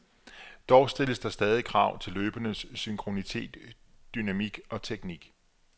Dog stilles der stadig krav til løbernes synkronitet, dynamik og teknik.